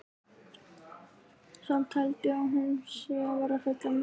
Samt held ég að hún sé að verða fullorðin.